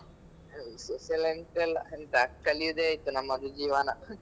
ವಿಶೇಷ ಎಲ್ಲಾ ಎಂತ ಇಲ್ಲ ಎಂತ ಕಲ್ಯೋದೆ ಆಯ್ತು ನಮ್ಮದು ಜೀವನ.